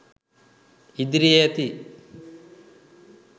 ඉදිරියේ ඇති